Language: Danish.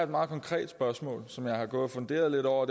meget konkret spørgsmål som jeg har gået og funderet lidt over